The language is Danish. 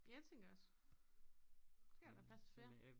Ja det tænker jeg også så kan der være plads til flere